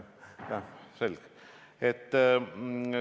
Jah, selge.